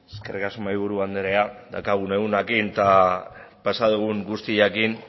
eskerrik asko mahaiburu anderea daukagun egunarekin eta pasa dugun guztiarekin